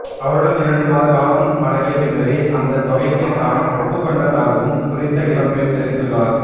அவருடன் இரண்டு மாத காலம் பழகிய பின்னரே அந்த தொகைக்கு தாம் ஒப்புக்கொண்டதாகவும் குறித்த இளம்பெண் தெரிவித்துள்ளார்